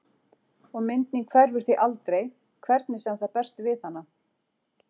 Og mynd mín hverfur því aldrei hvernig sem það berst við hana.